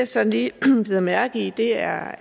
så lige bider mærke i er